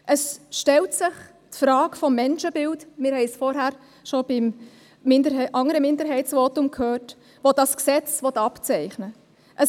Es stellt sich die Frage des Menschenbildes – wir haben es vorhin schon beim anderen Minderheitsvotum gehört –, das dieses Gesetz zeichnen will.